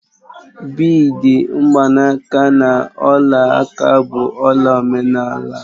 Bịidi, mgbanaka na ọla aka bụ ọla omenala